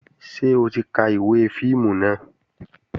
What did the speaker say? Ṣé o ti ka ìwé fíìmù náà?